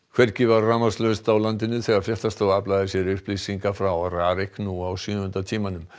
hvergi var rafmagnslaust á landinu þegar fréttastofa aflaði sér upplýsinga frá RARIK nú á sjöunda tímanum